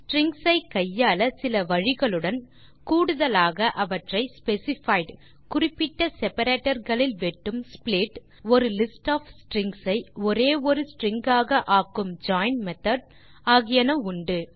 strings ஐ கையாள சில வழிகளுடன் கூடுதலாக அவற்றை ஸ்பெசிஃபைட் - குறிப்பிட்ட செப்பரேட்டர் களில் வெட்டும் ஸ்ப்ளிட் ஒரு லிஸ்ட் ஒஃப் ஸ்ட்ரிங்ஸ் ஐ ஒரே ஒரு ஸ்ட்ரிங் ஆக சேர்க்கும் ஜாயின் மெத்தோட் ஆகியன உண்டு